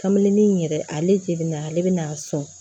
Kamelenin in yɛrɛ ale jenina ale bɛna a sɔn